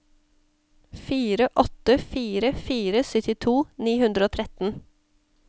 fire åtte fire fire syttito ni hundre og tretten